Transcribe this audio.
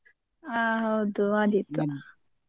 ಹ ಹೌದು, ಆದೀತು.